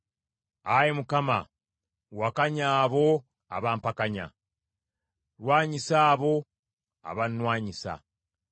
Ayi Mukama , wakanya abo abampakanya, lwanyisa abo abannwanyisa.